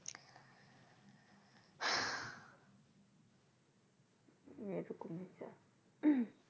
উহ